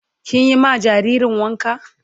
Kin yi ma jaririn wanka?